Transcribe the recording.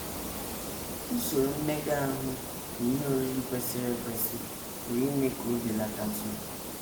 Usoro mmega ahụ na ihe oriri kwesịrị ekwesị pụrụ ime ka o belatatụ